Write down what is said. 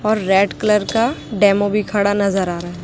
और red colour का demo भी खड़ा नजर आ रहा है।